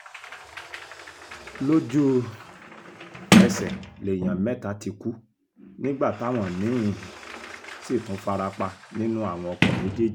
lójú-ẹsẹ̀ lèèyàn mẹ́ta ti kú nígbà táwọn mí-ín sì tún fara pa nínú àwọn ọkọ̀ méjèèjì